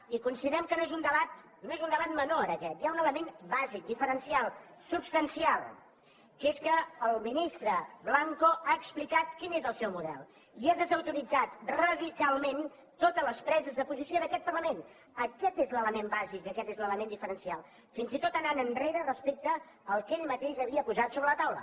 i considerem que no és un debat menor aquest hi ha un element bàsic diferencial substancial que és que el ministre blanco ha explicat quin és el seu model i ha desautoritzat radicalment totes les preses de posició d’aquest parlament aquest és l’element bàsic i aquest és l’element diferencial fins i tot anant enrere respecte al que ell mateix havia posat sobre la taula